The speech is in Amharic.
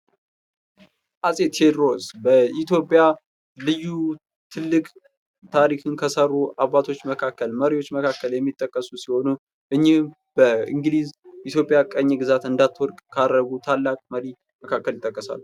አጼ ቴዎድሮስ በኢትዮጵያ ልዩ ትልቅ ታሪክን ከሰሩ አባቶች ማካከል መሪወች መካከል የሚጠቀሱ ሲሆኑ እኒህም በንግሊዝ ኢትዪጵያ ቅኝ ግዛት እንዳትወድቅ ካረጉ ታላቅ መሪ ማካከል ይጠቀሳሉ።